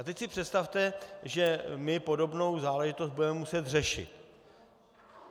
A teď si představte, že my podobnou záležitost budeme muset řešit.